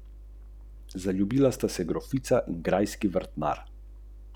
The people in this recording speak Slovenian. Močno upam, da bodo pogoji na tekmah dovoljevali uvrstitev v finale.